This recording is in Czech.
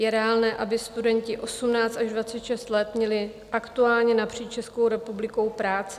Je reálné, aby studenti 18 až 26 let měli aktuálně napříč Českou republikou práci?